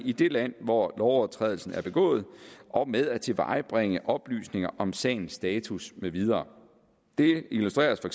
i det land hvor lovovertrædelsen er begået og med at tilvejebringe oplysninger om sagens status med videre det illustreres for